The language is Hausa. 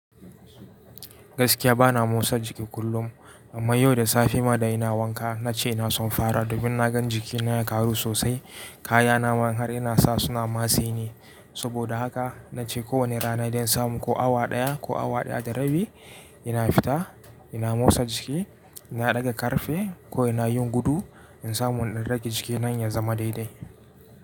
Gaskiya bana motsa jiki kullum, amma yau da safe ma da ina wanka na ce na son fara domin na gan jikina ya karu sosai. Kayana man har ina sa suna matse ni. Saboda haka na ce kowane rana idan samu ko awa ɗaya ko awa ɗaya da rabi ina fita ina motsa jiki. Ina ɗaga ƙarfe ko ina yin gudu in samu in rage jikina ya zama daidai.